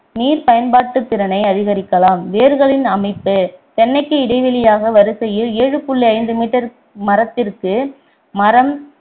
நீர் பயன்பாட்டுத்திறனை அதிகரிக்கலாம் வேர்களின் அமைப்பு தென்னைக்கு இடைவெளியாக வரிசையில் ஏழு புள்ளி ஐந்து meter மரத்திற்கு மரம்